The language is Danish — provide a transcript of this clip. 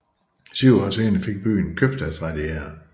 Syv år senere fik byen købstadsrettigheder